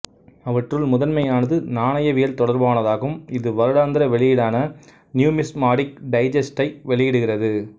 அவற்றுள் முதன்மையானது நாணயவியல் தொடர்பானதாகும் இது வருடாந்திர வெளியீடான நியூமிஸ்மாடிக் டைஜெஸ்டை வெளியிடுகிறது